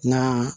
Na